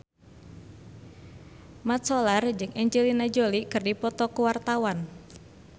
Mat Solar jeung Angelina Jolie keur dipoto ku wartawan